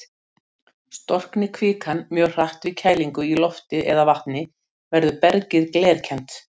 Storkni kvikan mjög hratt við kælingu í lofti eða vatni, verður bergið glerkennt.